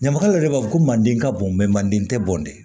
Ɲamakalaw yɛrɛ b'a fɔ ko manden ka bon manden tɛ bɔn de